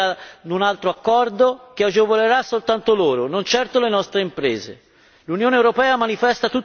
Oggi noi siamo ancora qua pronti ad un altro accordo che agevolerà soltanto loro, non certo le nostre imprese.